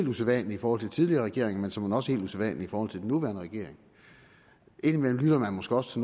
usædvanligt i forhold til tidligere regeringer men såmænd også helt usædvanligt i forhold til den nuværende regering indimellem lytter man måske også